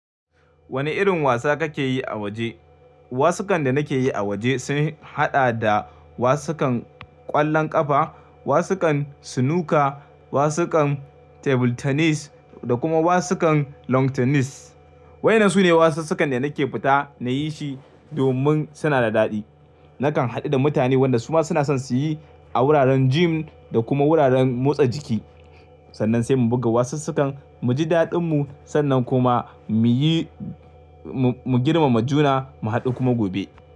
Wane irin wasa kake yi a waje? Wasukan da nake yi a waje sun haɗa da wasukan ƙwallon ƙafa, wasukan snooker, wasukan table tennis da kuma wasukan long tennis. Wayannan su ne wasussukan da nake fita na yi shi domin suna da daɗi. Nakan haɗu da mutane wanda su ma suna son su yi a wuraren gym da kuma wuraren motsa jiki. Sannan sai mu buga wasussukan, mu ji daɗin mu sannan kuma mu yi mu, mu girmama juna mu haɗu kuma gobe.